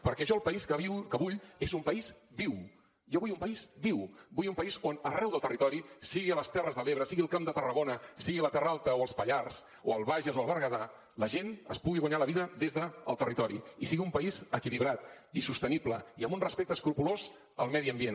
perquè jo el país que vull és un país viu jo vull un país viu vull un país on arreu del territori sigui a les terres de l’ebre sigui al camp de tarragona sigui a la terra alta o als pallars o al bages o al berguedà la gent es pugui guanyar la vida des del territori i sigui un país equilibrat i sostenible i amb un respecte escrupolós al medi ambient